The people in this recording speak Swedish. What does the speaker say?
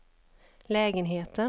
lägenheten